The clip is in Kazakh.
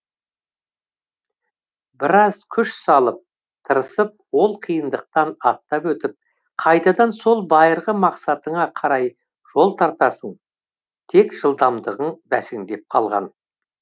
біраз күш салып тырысып ол қиындықтан аттап өтіп қайтадан сол байырғы мақсатыңа қарай жол тартасың тек жылдамдығың бәсеңдеп қалған